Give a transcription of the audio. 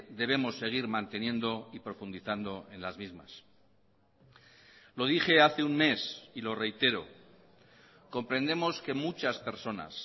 debemos seguir manteniendo y profundizando en las mismas lo dije hace un mes y lo reitero comprendemos que muchas personas